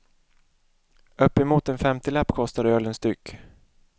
Uppemot en femtiolapp kostar ölen styck.